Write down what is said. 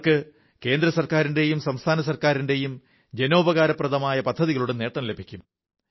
അവർക്ക് കേന്ദ്രസർക്കാരിന്റെയും സംസ്ഥാന സർക്കാരിന്റെയും ജനോപകാരപ്രദങ്ങളായ പദ്ധതികളുടെ നേട്ടം ലഭിക്കും